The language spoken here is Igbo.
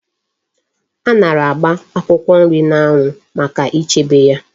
Anara agba akwukwo nri na anwu Maka ichebe ya